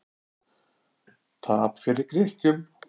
Tap fyrir Grikkjum